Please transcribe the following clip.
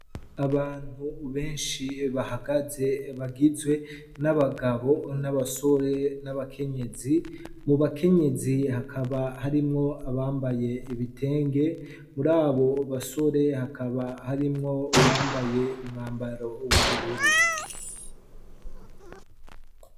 Abantu benshi bahagaze bagizwe n'abagabo n'abasore n'abakenyezi mu bakenyezi hakaba harimwo abambaye ibitenge muri abo basore hakaba harimwo uwambaye umwambaro w'ubururu.